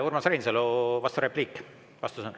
Urmas Reinsalu, vasturepliik.